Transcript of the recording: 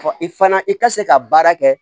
I fana i ka se ka baara kɛ